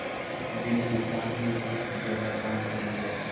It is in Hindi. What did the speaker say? उस दिन किसान ने कुछ ज्यादा काम कर लिया था